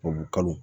Tubabukalo